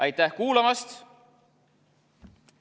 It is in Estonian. Aitäh kuulamast!